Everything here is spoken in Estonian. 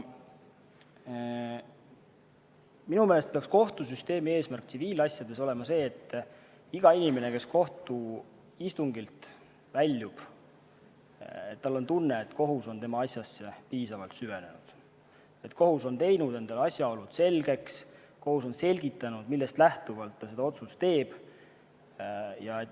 Minu meelest peaks kohtusüsteemi eesmärk tsiviilasjades olema see, et igal inimesel, kes kohtuistungilt väljub, oleks tunne, et kohus on tema asjasse piisavalt süvenenud, teinud endale selgeks asjaolud ja selgitanud, millest lähtuvalt ta otsuse teeb.